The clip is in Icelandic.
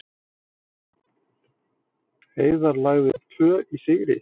Heiðar lagði upp tvö í sigri